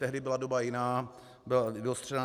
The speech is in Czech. Tehdy byla doba jiná, byla vyostřená.